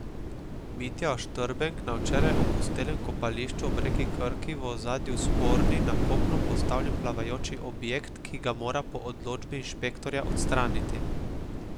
Mitja Oštrbenk na včeraj opustelem kopališču ob reki Krki, v ozadju sporni, na kopno postavljen plavajoči objekt, ki ga mora po odločbi inšpektorja odstraniti.